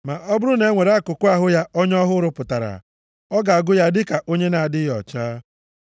Ma ọ bụrụ na e nwere akụkụ ahụ ya ọnya ọ hụrụ pụtara, ọ ga-agụ ya dịka onye na-adịghị ọcha.